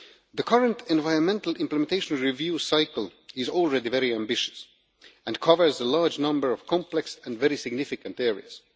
The current environmental implementation review cycle is already very ambitious and covers a large number of complex and very significant areas.